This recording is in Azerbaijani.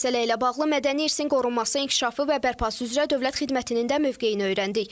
Məsələ ilə bağlı mədəni irsin qorunması, inkişafı və bərpası üzrə Dövlət Xidmətinin də mövqeyini öyrəndik.